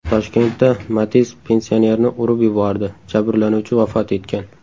Toshkentda Matiz pensionerni urib yubordi, jabrlanuvchi vafot etgan.